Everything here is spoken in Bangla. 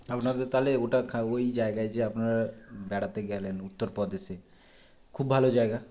আপনাদের তালে ওটা খা ঐ জায়গায় যে আপনারা বেড়াতে গেলেন উত্তর প্রদেশে খুব ভালো জায়গা